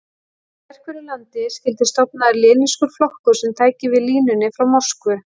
Í sérhverju landi skyldi stofnaður lenínískur flokkur sem tæki við línunni frá Moskvu.